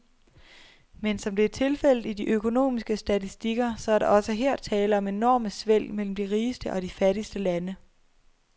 Men, som det er tilfældet i de økonomiske statistikker, så er der også her tale om enorme svælg mellem de rigeste og de fattigste lande.